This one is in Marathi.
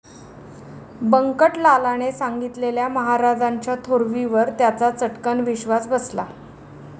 बंकटलालाने सांगितलेल्या महाराजांच्या थोरवीवर त्याचा चट्कन विश्वास बसला.